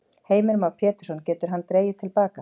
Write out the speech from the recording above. Heimir Már Pétursson: Getur hann dregið til baka?